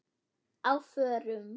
Á FÖRUM?